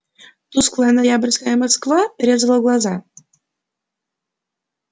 тусклая ноябрьская москва резала глаза